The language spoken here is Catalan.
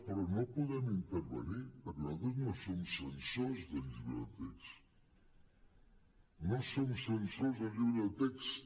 però no hi podem intervenir perquè nosaltres no som censors del llibre de text no som censors del llibre de text